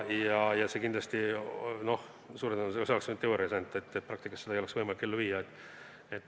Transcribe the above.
See on kindlasti võimalik ainult teoorias, suure tõenäosusega praktikas seda ellu viia ei oleks võimalik.